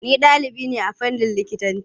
Ni ɗalibi ne a fannin likitanci.